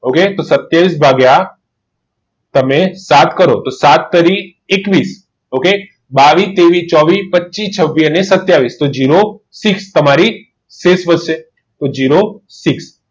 ઓગણત્રીસ દિવસ માંથી બે દિવસ જતા રહ્યા ઓગણત્રીસ દિવસ માંથી બે દિવસ જતા રહ્યા તો વધ્યા કેટલા સત્યાવીસ દિવસ સત્યાવીસ ભાગ્યા સાત કરો